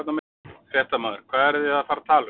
Fréttamaður: Hvað eruð þið að fara að tala um?